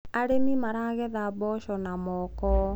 arĩmi maragetha mboco na moko